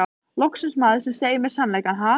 Loksins maður sem segir mér sannleikann, ha?